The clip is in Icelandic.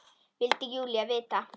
vildi Júlía vita.